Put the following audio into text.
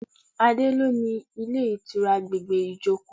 Adé lo ni ilé ìtura àgbègbè Ijoko.